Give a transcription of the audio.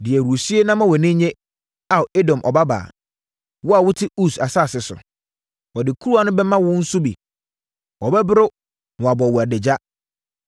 Di ahurisie na ma wʼani nnye, Ao Edom Ɔbabaa, wo a wote Us asase so. Wɔde kuruwa no bɛma wo nso bi; wobɛboro na wɔabɔ wo adagya.